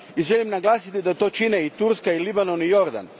I želim naglasiti da to čine i Turska i Libanon i Jordan.